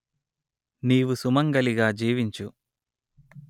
నీవు సుమంగళిగా జీవించు